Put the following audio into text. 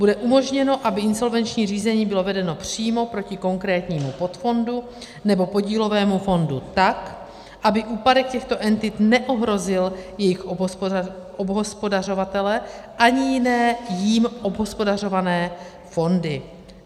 Bude umožněno, aby insolvenční řízení bylo vedeno přímo proti konkrétnímu podfondu nebo podílovému fondu tak, aby úpadek těchto entit neohrozil jejich obhospodařovatele ani jiné jím obhospodařované fondy.